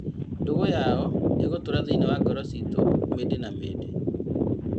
Ndũgũ yao ĩgũtũra thĩinĩ wa ngoro ciitũ mĩndĩ na mĩndĩ.